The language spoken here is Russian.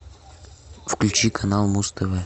включи канал муз тв